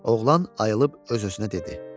Oğlan ayılıb öz-özünə dedi: